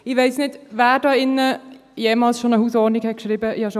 Ich weiss nicht, wer hier in diesem Saal jemals schon eine Hausordnung geschrieben hat;